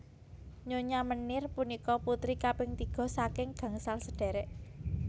Nyonya Meneer punika putri kaping tiga saking gangsal sadherek